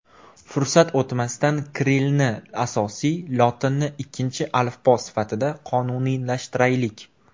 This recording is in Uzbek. Fursat o‘tmasidan kirillni asosiy, lotinni ikkinchi alifbo sifatida qonunlashtiraylik.